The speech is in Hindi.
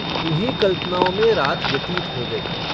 इन्हीं कल्पनाओं में रात व्यतीत हो गई।